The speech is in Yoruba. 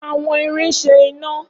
Awọn irin ṣe ina.